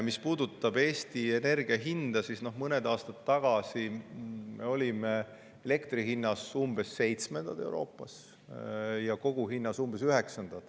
Mis puudutab energia hinda Eestis, siis mõned aastad tagasi olime elektri hinna poolest umbes seitsmendad Euroopas ja kogu hinna poolest umbes üheksandad.